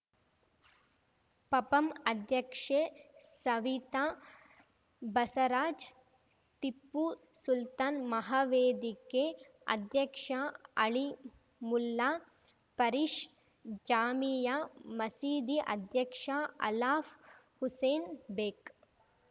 ಪಪಂ ಅಧ್ಯಕ್ಷೆ ಸವಿತಾ ಬಸರಾಜ್‌ ಟಿಪ್ಪು ಸುಲ್ತಾನ್‌ ಮಹಾವೇದಿಕೆ ಅಧ್ಯಕ್ಷ ಅಳೀಮುಲ್ಲಾ ಪರೀಷ್‌ ಜಾಮೀಯಾ ಮಸೀದಿ ಅಧ್ಯಕ್ಷ ಅಲಾಫ್‌ ಹುಸೇನ್‌ ಬೇಗ್‌